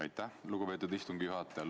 Aitäh, lugupeetud istungi juhataja!